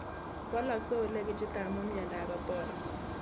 Walaksei ole kichute amu miondop Ebola